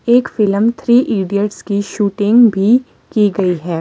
एक film three idiots की shooting भी की गई है।